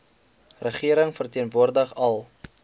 regering verteenwoordig al